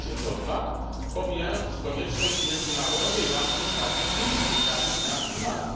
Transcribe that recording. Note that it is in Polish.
emisje CO 2 pomijając konieczność międzynarodowej walki z faktycznymi skutkami zmian klimatu.